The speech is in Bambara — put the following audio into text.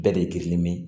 Bɛɛ de girinnen bɛ